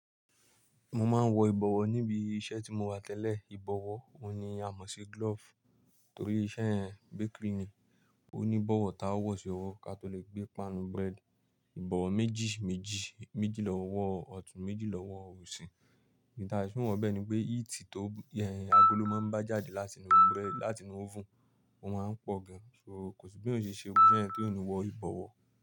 Mo máa ń wọ ìbọ̀wọ̀ níbi iṣẹ́ tí mo wà tẹ́lẹ̀. Ìbọ̀wọ̀, òun ni a mọ̀ sí glove torí iṣẹ́ yen bakery ni, ó ní ìbọ̀wọ̀ táwọ̀ ṣe òwò ká tó lè gbé páànù bread. Ìbọ̀wọ̀ méjì méjì, méjì lọ́wọ́ ọ̀tún, méjì lọ́wọ́ òsì. N ta se wo bẹ́ẹ̀ ni pé heat tó yẹn agolo máa ń bá jáde látì inu bread, látì inu oven, ó máa ń pọ̀ gan. So kò sí bí eyan ṣe ṣe gbogbo iṣẹ́ yẹn tí o nì wọ ìbọ̀wọ̀